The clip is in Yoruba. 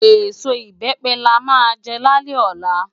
Esó ibèpè lá má jè lálè òlá